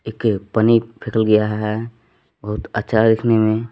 एक ये पन्नी फ़ेकल गया है बहुत अच्छा है देखने में।